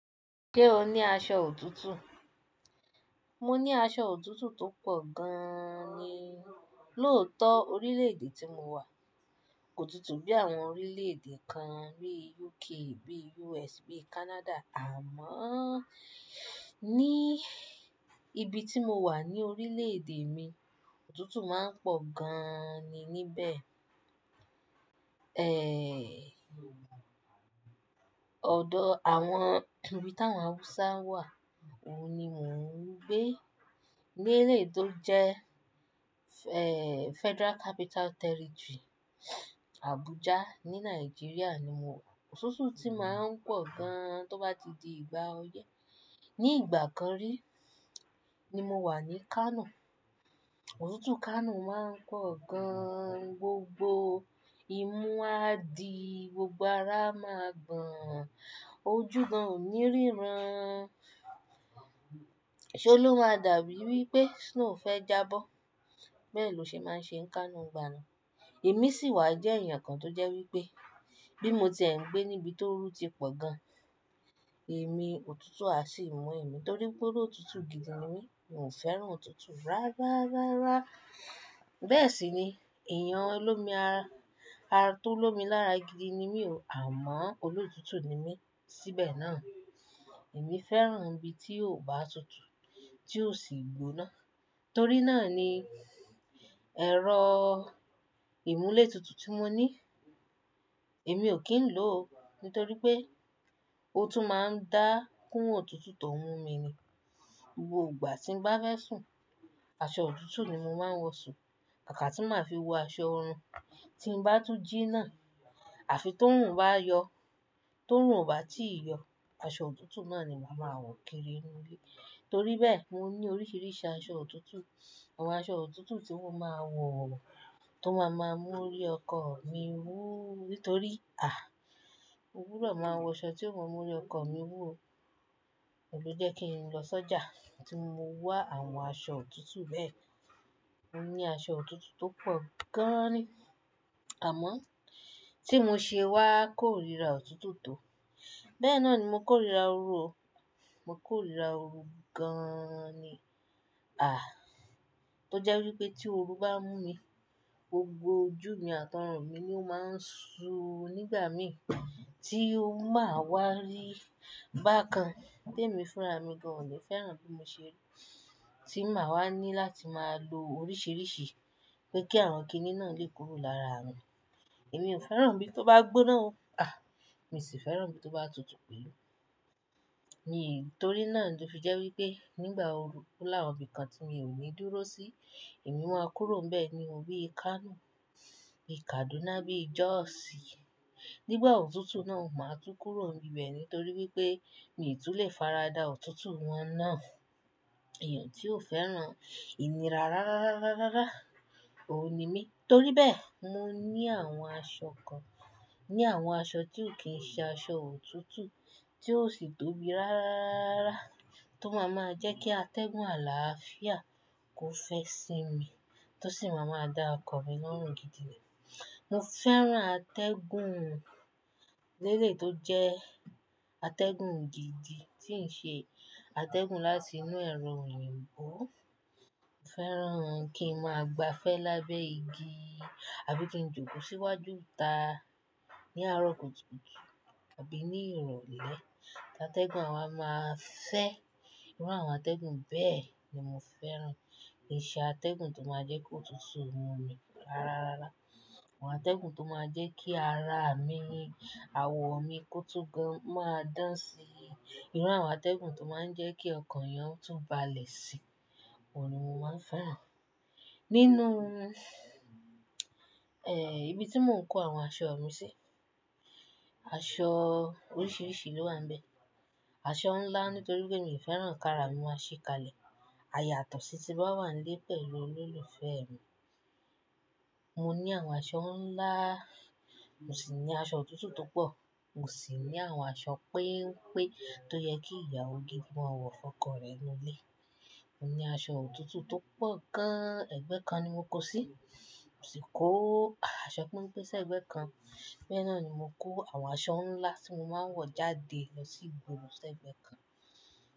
Ṣé o ní aṣọ òtútù? Mo ní aṣọ òtútù tó pọ̀ gaaani. Lóòótọ́ orílè èdè tí mo wà kò tutù bí àwọn orílè èdè kan bí UK, bí US, bí Canada. Àmọ́ ní ibi tí mo wà ní orílè èdè mi, òtútù máa ń pọ̀ gaaani níbẹ̀. Ọ̀dọ̀ àwọn ibi táwọn Haúsá wà, òun ni mò ń gbé. Ní ilé tó jẹ́, ẹ Federal Capital Territory, Abuja ní Nàìjíríà ni mo wà. Òtútù tí máa ń pọ̀ gan tó bá ti di ìgbà ọyẹ́. Ní ìgbà kan rí ni mo wà ní Kano. Òtútù Kano máa ń pọ̀ gan. Gbogbo ìmú àdí, gbogbo ara a máa gbọ̀n. Ojú gan ò ní ríran. Ṣé lo maa dàbí wípé snow fẹ́ jábọ́? Bẹ́ẹ̀ ló ṣe máa ń ṣe Kano n gbà náà. Èmi sì wá jẹ́ èèyàn kan tó jẹ́ wípé bí mo ti ń gbé níbi tó rú ti pọ̀ gan, èmi òtútù á sì mú èmi torí pé olótútù gidi ni mí. Mi ò fẹ́ràn òtútù rárá, rárá. Bẹ́ẹ̀ sì ni, èèyàn olómi ara-- ará tó lomi lára gidi ni mí o. Àmọ́ olótútù ni mí síbẹ̀ náà. Èmi fẹ́ràn ibi tí ò bá tutù, tí ò sì gbóná. Torí náà ni ẹ̀rọ ìmúlẹ̀ òtútù tí mo ní, èmi ò kí ń lò ó. Nítorí pé ó tún máa ń dá kún òtútù tó n mú mi ni. Gbogbo ìgbà tí ń bá fẹ́ sùn, aṣọ òtútù ni mo máa ń wọ̀ sùn. Kaka tí màá fi wọ aṣọ ọ̀run tí ń bá tún jí náà. Àfi tó oruń bá yọ, tó oruń o bá ti yọ, aṣọ òtútù náà ni màá máa wọ̀ kiri inú ilé. Torí bẹ́ẹ̀ mo ní oríṣiríṣi aṣọ òtútù. Àwọn aṣọ òtútù tí mo máa ń wọ̀ tó máa máa mú ori ọkọ mi wú. Nítorí, à, mo gbúdọ̀ máa wọ aṣọ tí ó máa mú ori ọkọ mi wú o. Oun lè jẹ́ kí n lọ sọ́jà tí mo wá àwọn aṣọ òtútù bẹ́ẹ̀. Mo ní aṣọ òtútù tó pọ̀ gaaani. Àmọ́ tí mo ṣe wá kórira òtútù tó. Bẹ́ẹ̀ náà ni mo kórira ooru o. Mo kórira ooru gaaani. Tó jẹ́ wípé tí ooru bá n mú mi, gbogbo ojú mi àti ọrùn mi ni ó máa ń ṣú nígbà mi tí máa wá rí bákan. Tẹ́mi fúnra mi gan, ò lè fẹ́ràn bí mo ṣe rí. Tí màá wá ní láti máa lo oríṣiríṣi pé kí àwọn kíní náà lè kúrò lára mi. Èmi ò fẹ́ràn ibí tó bá gbóná o. Mi sì fẹ́ràn ibí tó bá tutù pẹ́. Ní, torí náà ló fi jẹ́ wípé nígbà ooru o là wọn ibí kan tí mo ò ní dúró sí. Èmi máa kúrò n bẹ ni bi Kano. Bi Kaduna bí Jos. Nígbà òtútù náà, màá tú kúrò n bibẹ nítorí wípé mi tun lè faradà òtútù wọn náà. Èèyàn tí ò fẹ́ràn ìnira rárá, rárá, rárá, rárá, òun ni mí. Torí bẹ́ẹ̀ mo ní àwọn aṣọ kan. Ni àwọn aṣọ tí ò kí ń ṣe aṣọ òtútù tí ò sì tóbi rárá, rárá tó máa máa jẹ́ kí atẹ́gùn àlàáfíà kó fẹ́ sinmi tó sì máa máa dá ọkọ̀ mi lọ́rùn gidi ni Mo fẹ́ràn atẹ́gùn lélẹ̀ tó jẹ́ atẹ́gùn gidi tí ń ṣe atẹ́gùn láti inú ẹ̀rọ òyìnbó. Mo fẹ́ràn kí n máa gba fẹ́ lábẹ́ igi àbí kí n jókòó síwájú ìta ní àárọ̀ kùtùkùtù àbí ní ìrọ̀lẹ́. Atẹ́gùn àwa máa fẹ́. Irú àwọn atẹ́gùn bẹ́ẹ̀ ni mo fẹ́ràn. Kì í ṣe atẹ́gùn tó máa jẹ́ kó tutù mú mi rárá, rárá, Àwọn atẹ́gùn tó máa jẹ́ kí ara mi, àwọ̀ mi kó tú gan máa dán sí i. Irú àwọn atẹ́gùn tó máa ń jẹ́ kí ọkàn èèyàn tún bá le si, òun ni mo máa ń fẹ́ràn. Nínú, ibi tí mò ń kó àwọn aṣọ mi sí, aṣọ oríṣiríṣi ló wà níbẹ̀. Aṣọ ńlá nítorí pé mi ò fẹ́ràn kí ara mi máa ṣíkalẹ̀. Àyàtọ̀ sí ti bá wà nílé pẹ̀lú olólùfẹ́ mi. Mo ní àwọn aṣọ ńlá, mo sì ní aṣọ òtútù tó pọ̀. Mo sì ní àwọn aṣọ péńpé tó yẹ kí ìyàwó gidi mọ wọ fún ọkọ rẹ̀ nínú ilé. Mo ní aṣọ òtútù tó pọ̀ gan. Ẹgbẹ́ kan ni mo kó sí. Mo sì kó aṣọ péńpé sẹ́ ẹgbẹ́ kan. Bẹ́ẹ̀ náà ni mo kó àwọn aṣọ ńlá tí mo máa ń wọ̀ jáde lọ sí igboro s'ẹgbẹ́ kan.